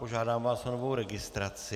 Požádám vás o novou registraci.